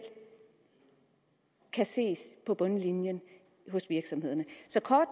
kan ses på bundlinjen hos virksomhederne så